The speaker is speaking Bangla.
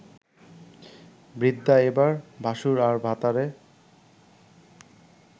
বৃদ্ধা এবার ভাশুর আর ভাতারে